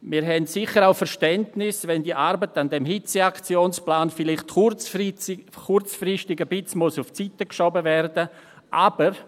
Wir haben sicher auch Verständnis, wenn die Arbeit am Hitzeaktionsplan vielleicht kurzfristig ein wenig auf die Seite geschoben werden muss.